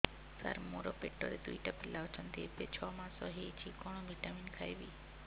ସାର ମୋର ପେଟରେ ଦୁଇଟି ପିଲା ଅଛନ୍ତି ଏବେ ଛଅ ମାସ ହେଇଛି କଣ ଭିଟାମିନ ଖାଇବି